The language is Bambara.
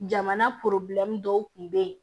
Jamana dɔw tun bɛ yen